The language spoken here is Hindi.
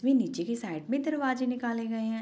ये नीचे के साइड में दरवाजे निकाले गए है।